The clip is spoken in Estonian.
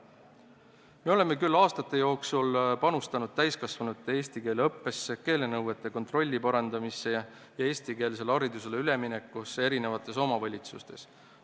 Me oleme küll aastate jooksul panustanud täiskasvanute eesti keele õppesse, keelenõuete täitmise kontrolli parandamisse ja eestikeelsele haridusele üleminekusse eri omavalitsustes.